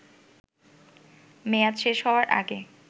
মেয়াদ শেষ হওয়ার আগে